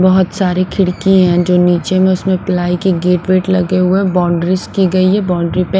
बहुत सारी खिड़की हैंजो नीचे में उसमें प्लाई की गेट वेट लगे हुए बाउंड्रीज की गई है बाउंड्री .